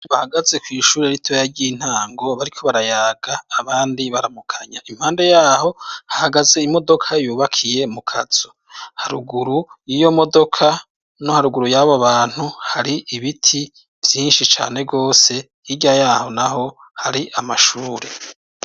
Bahagaze kw'ishuri ritoya ry'intango, bariko barayaga, abandi baramukanya. Impande y'aho hahagaze imodoka yubakiye mu kazu. Haruguru y'iyo modoka no haruguru y'abo bantu, har'ibiti vyinshi cane gose hirya y'aho naho hari amashuri.